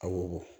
A wo bɔ